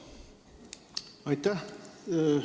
Aitäh!